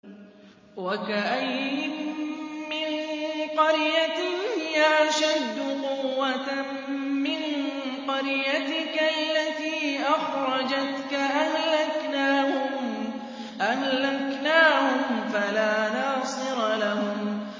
وَكَأَيِّن مِّن قَرْيَةٍ هِيَ أَشَدُّ قُوَّةً مِّن قَرْيَتِكَ الَّتِي أَخْرَجَتْكَ أَهْلَكْنَاهُمْ فَلَا نَاصِرَ لَهُمْ